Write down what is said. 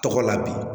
Tɔgɔ la bi